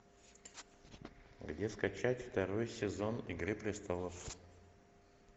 где скачать второй сезон игры престолов